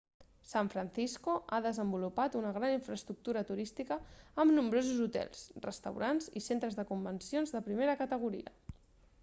san francisco ha desenvolupat una gran infraestructura turística amb nombrosos hotels restaurants i centres de convencions de primera categoria